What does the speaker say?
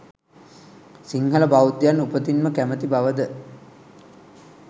සිංහල බෞද්ධයන් උපතින්ම කැමති බවද